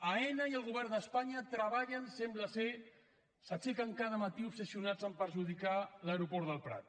aena i el govern d’espanya treballen sembla s’aixequen cada matí obsessionats a perjudicar l’aeroport del prat